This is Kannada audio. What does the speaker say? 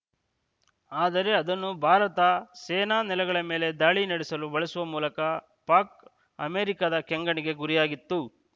ಆದರೆ ಅದನ್ನು ಭಾರತ ಸೇನಾ ನೆಲೆಗಳ ಮೇಲೆ ದಾಳಿ ನಡೆಸಲು ಬಳಸುವ ಮೂಲಕ ಪಾಕ್‌ ಅಮೇರಿಕದ ಕೆಂಗಣ್ಣಿಗೆ ಗುರಿಯಾಗಿತ್ತು